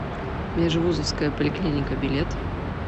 межвузовская поликлиника билет